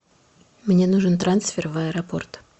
мне нужен трансфер в аэропорт